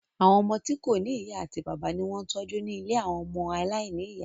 Àwọn ọmọ tí kò ní ìyá àti bàbá ni wọ́n ń tọ́jú ní ilé àwọn ọmọ aláìní ìyá